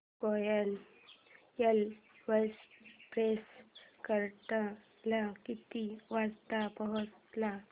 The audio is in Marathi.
कोयना एक्सप्रेस कराड ला किती वाजता पोहचेल